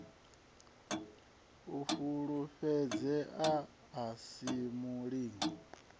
u fulufhedzea a si mulingo